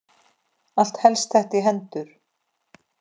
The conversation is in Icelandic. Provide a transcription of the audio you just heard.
Allt helst þetta í hendur.